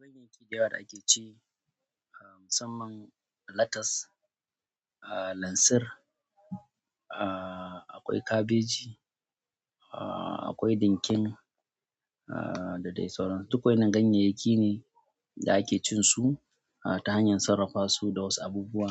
Dangin itatuwa da ake ci musamman latas, lansir, ah akwai kabeji, ah akwai ɗinkin ah da dai sauran su duk waɗannan ganyayyaki ne da ake cin su ta hanyar sarrafa su da wasu abubuwa,